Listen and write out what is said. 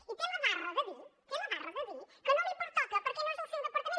i té la barra de dir té la barra de dir que no li pertoca perquè no és el seu departament